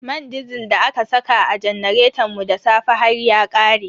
Man disil da aka saka a janaretan mu da safe har ya ƙare.